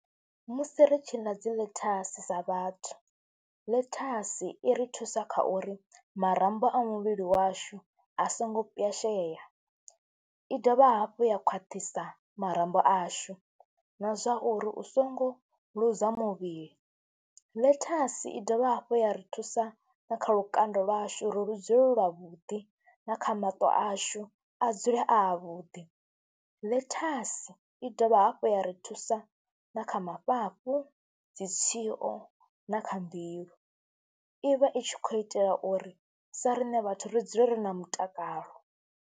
Musi ri tshi ḽa dzi ḽethasi sa vhathu, ḽethasi i ri thusa kha uri marambo a muvhili washu a songo pwyashea, i dovha hafhu ya khwaṱhisa marambo ashu na zwa uri u songo luza muvhili. Ḽethasi i dovha hafhu ya ri thusa na kha lukanda lwashu uri lu dzule lwavhuḓi na kha maṱo ashu a dzule a avhuḓi. Ḽethasi i dovha hafhu ya ri thusa na kha mafhafhu, dzi tswio na kha mbilu, i vha i tshi khou itela uri sa riṋe vhathu ri dzule ri na mutakalo.